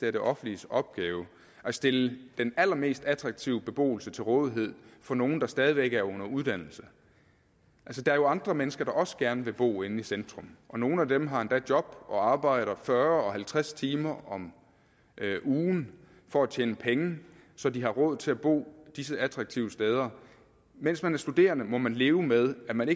er det offentliges opgave at stille den allermest attraktive beboelse til rådighed for nogle der stadig væk er under uddannelse altså der er jo andre mennesker der også gerne vil bo inde i centrum og nogle af dem har endda job og arbejder fyrre og halvtreds timer om ugen for at tjene penge så de har råd til at bo disse attraktive steder mens man er studerende må man leve med at man